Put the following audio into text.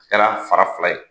Kɛra fara fila ye.